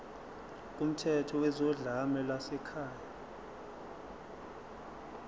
kumthetho wezodlame lwasekhaya